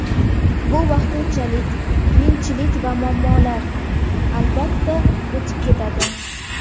Bu vaqtinchalik qiyinchilik va muammolar, albatta, o‘tib ketadi.